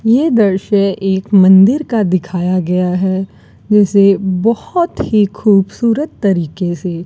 ये दृश्य एक मंदिर का दिखाया गया है जैसे बहोत ही खूबसूरत तरीके से --